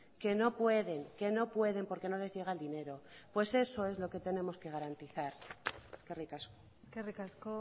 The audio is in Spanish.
que no pueden que no pueden porque no les llega el dinero pues eso es lo que tenemos que garantizar eskerrik asko eskerrik asko